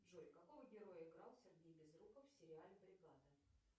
джой какого героя играл сергей безруков в сериале бригада